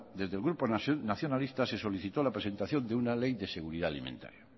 desde el grupo nacionalista se solicitó la presentación de una ley de seguridad alimentaria